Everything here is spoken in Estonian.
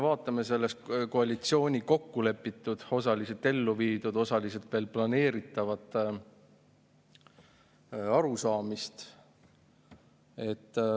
Vaatame koalitsioonis kokku lepitud, osaliselt ellu viidud, osaliselt veel planeeritavat arusaamist.